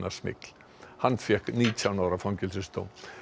fíkniefnasmygl hann fékk nítján ára fangelsisdóm